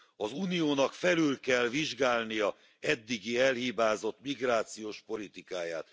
Az Uniónak felül kell vizsgálnia eddigi elhibázott migrációs politikáját.